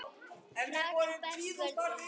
Krankan brestur völdin.